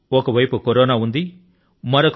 అంటే ఒక వైపు కరోనా ఉంది